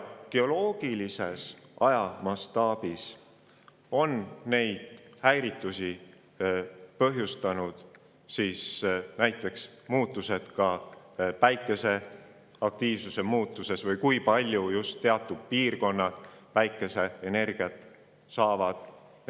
Geoloogilises ajamastaabis on neid häiritusi põhjustanud näiteks muutused Päikese aktiivsuses ja selles, kui palju piirkonnad päikeseenergiat saavad.